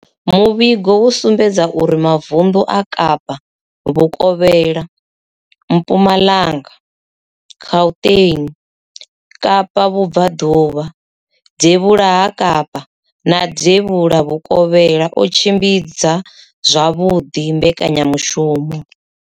Muvhigo wo sumbedzisa uri mavundu a Kapa vhukovhela, Mpumalanga, Gauteng, Kapa vhubvaḓuvha, devhula ha Kapa na devhula vhukovhela o tshimbidza zwavhuḓi mbekanyamushumo.